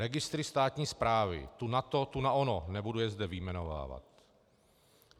Registry státní správy, tu na to, tu na ono, nebudu je zde vyjmenovávat.